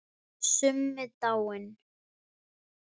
Summi dáinn.